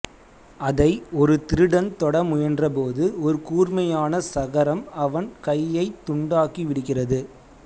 அதை ஒரு திருடன் தொட முயன்றபோது ஒரு கூர்மையான சகரம் அவன் கையைத் துண்டாக்கி விடு்கிறது